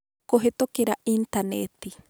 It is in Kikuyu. Kũhĩtũkĩra Intaneti: